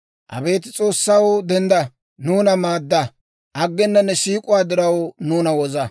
Abeet S'oossaw, dendda! Nuuna maadda! Aggena ne siik'uwaa diraw, nuuna woza.